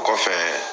O kɔfɛ